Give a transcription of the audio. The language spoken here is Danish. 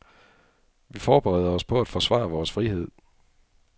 Vi forbereder os på at forsvare vores frihed.